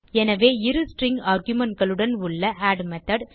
எனவே இரு ஸ்ட்ரிங் argumentகளுடன் உள்ள ஆட் மெத்தோட்